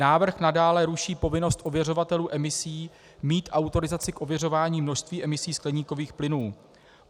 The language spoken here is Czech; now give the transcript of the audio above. Návrh nadále ruší povinnost ověřovatelů emisí mít autorizaci k ověřování množství emisí skleníkových plynů.